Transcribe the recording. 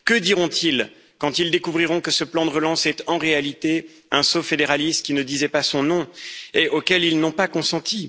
Que diront ils quand ils découvriront que ce plan de relance est en réalité un saut fédéraliste qui ne disait pas son nom et auquel ils n'ont pas consenti